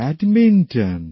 badminton